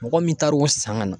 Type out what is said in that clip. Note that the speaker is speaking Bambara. Mɔgɔ min taar'o san ka na